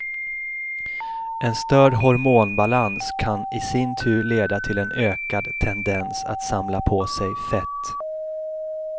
En störd hormonbalans kan i sin tur leda till en ökad tendens att samla på sig fett.